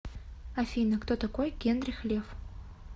афина кто такой генрих лев